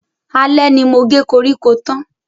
Alẹ́ ni mo ge koríko tán.